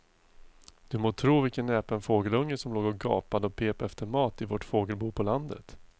Du må tro vilken näpen fågelunge som låg och gapade och pep efter mat i vårt fågelbo på landet.